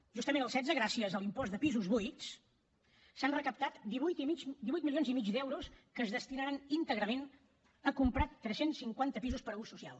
justament el setze gràcies a l’impost de pisos buits s’han recaptat divuit milions i mig d’euros que es destinaran íntegrament a comprar tres cents i cinquanta pisos per a ús social